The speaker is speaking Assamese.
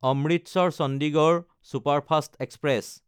Amritsar-Chandigarh superfast express